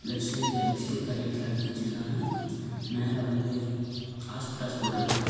Left சைடுல biscuit பாக்கெட்லாம் அடிக்கி வச்சிருக்காங்க மேல வந்து ஆஸ்பெட்டாஸ் போட்டுருக்காங்க.